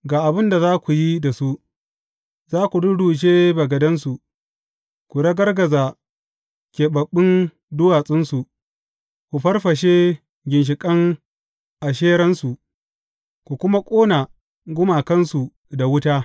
Ga abin da za ku yi da su, za ku rurrushe bagadansu, ku ragargaza keɓaɓɓun duwatsunsu, ku farfashe ginshiƙan Asheransu, ku kuma ƙona gumakansu da wuta.